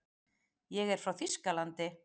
Ég er frá Þýskalandi.